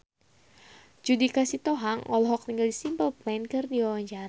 Judika Sitohang olohok ningali Simple Plan keur diwawancara